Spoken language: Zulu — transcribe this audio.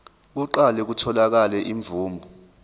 kuqale kutholakale imvume